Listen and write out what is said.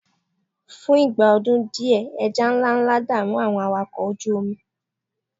fún ìgbà ọdún diẹ eja nlánlá da'mu àwọn awakọ oju omi